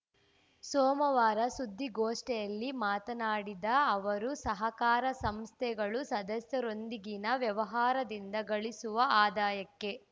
ಸೋಮವಾರ ಸುದ್ದಿಗೋಷ್ಠಿಯಲ್ಲಿ ಮಾತನಾಡಿದ ಅವರು ಸಹಕಾರ ಸಂಸ್ಥೆಗಳು ಸದಸ್ಯರೊಂದಿಗಿನ ವ್ಯವಹಾರದಿಂದ ಗಳಿಸುವ ಆದಾಯಕ್ಕೆ